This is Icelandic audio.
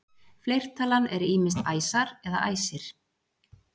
Fleirtalan er ýmist æsar eða æsir.